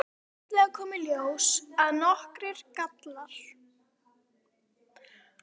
En fljótlega koma í ljós nokkrir gallar.